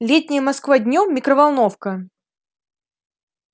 летняя москва днём микроволновка